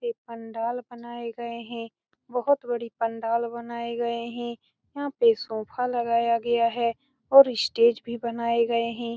ये पंडाल बनाये गए हैं बहुत बड़ी पंडाल बनाये गए है यहाँ पे सोफा लगाया गया है और स्टेज भी बनाये गए है